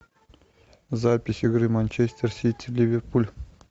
запись игры манчестер сити ливерпуль